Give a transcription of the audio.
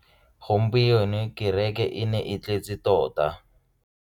Gompieno kereke e ne e tletse tota.